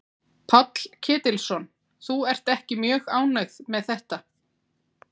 Páll Ketilsson: Þú ert ekki mjög ánægð með þetta?